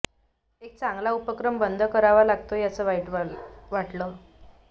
एक चांगला उपक्रम बंद करावा लागतोयं याचं वाईट वाटलं